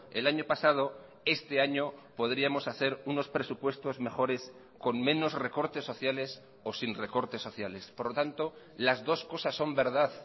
el año pasado este año podríamos hacer unos presupuestos mejores con menos recortes sociales o sin recortes sociales por lo tanto las dos cosas son verdad